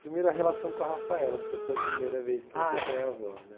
Primeiro, a relação com a Rafaela, porque foi a primeira vez que você foi avó, né.